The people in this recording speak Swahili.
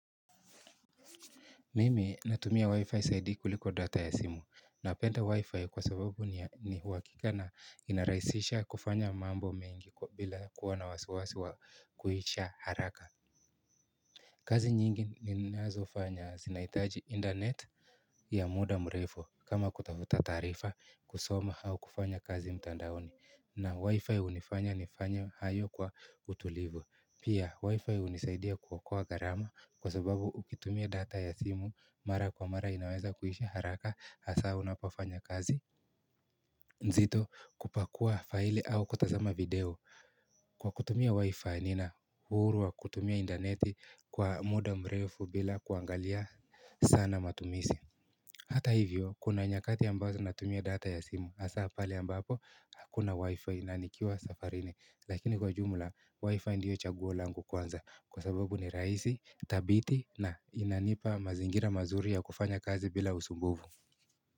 Mimi natumia wi-fi zaidi kuliko data ya simu napenda wi-fi kwa sababu ni ya uhakika na inaraisisha kufanya mambo mengi bila kuwa na wasiwasi wa kuisha haraka kazi nyingi ni nazofanya zinahitaji internet ya muda mrefu kama kutafuta taarifa kusoma au kufanya kazi mtandaoni na wi-fi hunifanya nifanye hayo kwa utulivu. Pia wi-fi hunisaidia kuokoa gharama kwa sababu ukitumia data ya simu mara kwa mara inaweza kuisha haraka hasa unapofanya kazi nzito, kupakua faili au kutazama video. Kwa kutumia wi-fi nina uhuru wa kutumia intaneti kwa muda mrefu bila kuangalia sana matumizi Hata hivyo, kuna nyakati ambazo natumia data ya simu hasa pale ambapo hakuna wi-fi na nikiwa safarini, lakini kwa jumla wi-fi ndio chaguo langu kwanza kwa sababu ni rahisi thabiti na inanipa mazingira mazuri ya kufanya kazi bila usumbuvu.